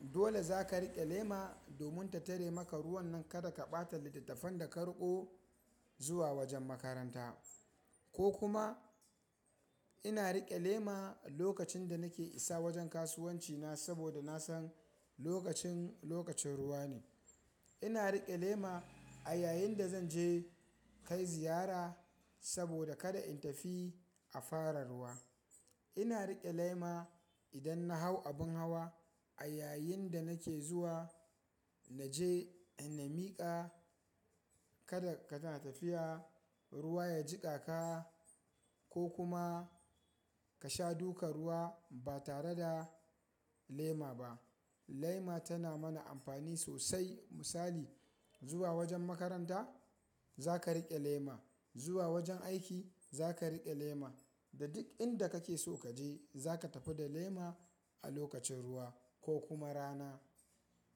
dole zaka riƙe lema domin ta tare maka ruwan nan kada ka ɓata littattafan da ka riƙo zuwa wajen makaranta ko kuma ina riƙe lema lokacin da nake isa wajen kasuwanci na saboda nasan lokacin, lokacin ruwa ne. Ina riƙe lema a yayin da zan je kai ziyara saboda kada in tafi a fara ruwa. Ina riƙe lema idan na hau abun hawa a yayin da nake zuwa, naje in na miƙa kada ka na tafiya ruwa ya jiƙa ka ko kuma ka sha duka ruwa ba tare da lema ba. Lema tana mana amfani sosai misali zuwa wajen makaranta zaka riƙe lema, zuwa wajen aiki zaka riƙe lema da duk inda kake so kaje zaka tafi da lema a lokacin ruwa ko kuma rana.